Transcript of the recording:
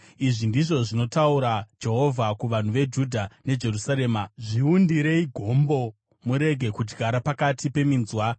Izvi ndizvo zvinotaura Jehovha kuvanhu veJudha neJerusarema: “Zviundirei gombo murege kudyara pakati peminzwa.